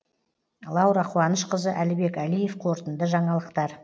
лаура қуанышқызы әлібек әлиев қорытынды жаңалықтар